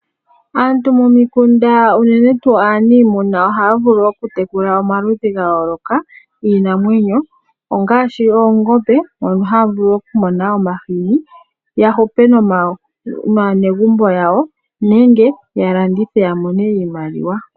Aantu momikunda unene tuu aanimuna ohaya vulu okutekula omaludhi ga yooloka giinamwenyo ongaashi oongombe mono haya vulu oku mona omahini, ya hupe naanegumbo yawo nenge ya landithe ya mone iimaliwa.